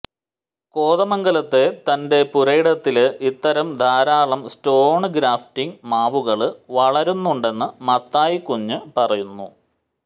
കോതമംഗലത്തെ തന്റെ പുരയിടത്തില് ഇത്തരം ധാരാളം സ്റ്റോണ് ഗ്രാഫ്റ്റിങ് മാവുകള് വളരുന്നുണ്ടെന്ന് മത്തായിക്കുഞ്ഞ് പറയുന്നു